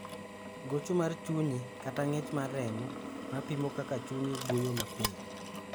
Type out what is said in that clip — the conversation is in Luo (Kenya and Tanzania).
gocho mar chunyi, kata ng'ich mar remo, ma pimo kaka chunyi guyo mapio